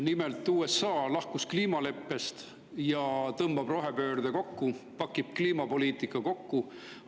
Nimelt, USA lahkus kliimaleppest ja tõmbab rohepööret kokku, pakib kliimapoliitika kokku.